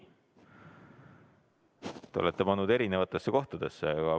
Te olete selle soovi kirja pannud eri kohtadesse.